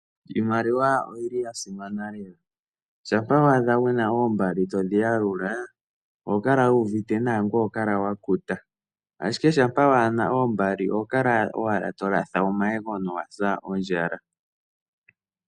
Iimaliwa oyi li ya simana lela. Shampa wa adha wu na oombali todhi yalula oho kala wu uvite nawa ngoye oho kala wa kuta, ashike shampa waa na oomali oho kala owala to latha omayego nowa sa ondjala.